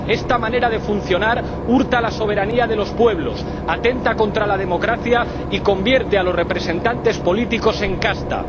Esta manera de funcionar hurta la soberanía de los pueblos, atenta contra la democracia y convierte a los representantes políticos en casta.